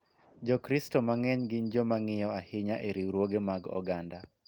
Jokristo mang�eny gin joma ng�iyo ahinya e riwruoge mag oganda .